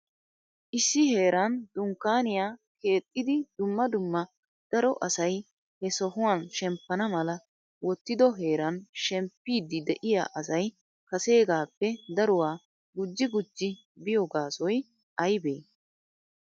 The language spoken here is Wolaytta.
issi heeran dunkkaniya keexxidi dumma dumma daro asay he sohuwan shemppana mala wottido heeran shempidi de'iyaa asay kasegappe daruwaa gujji gujji biyo gaasoy aybbe?